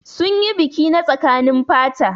Sun yi biki na tsakanin fata.